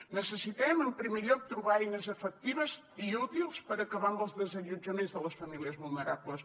necessitem en primer lloc trobar eines efectives i útils per acabar amb els desallotjaments de les famílies vulnerables